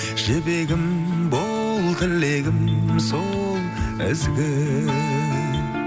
жібегім бол тілегім сол ізгі